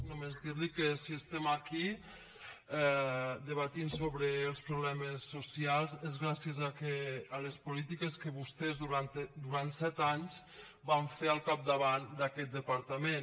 només dir li que si estem aquí debatent sobre els problemes socials és gràcies a les polítiques que vostès durant set anys van fer al capdavant d’aquest departament